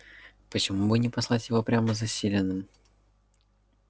почему бы не послать его прямо за селеном